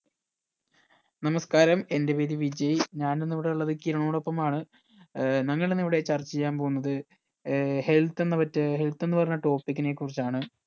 നമസ്ക്കാരം എന്റെ പേര് വിജയ് ഞാൻ ഇന്നിവിടെ ഉള്ളത് കിരനോടൊപ്പം ആണ് ഏർ ഞങ്ങൾ ഇന്ന് ഇവിടെ ചർച്ച ചെയ്യാൻ പോകുന്നത് ഏർ health എന്ന വെച്ചേ health എന്ന് പറഞ്ഞ topic നെ കുറിച്ചാണ്